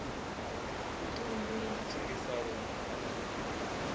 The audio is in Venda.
vhuṱun ḓi na thengiselonn ḓa